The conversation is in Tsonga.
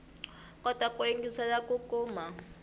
kota ku yingiselela ku kuma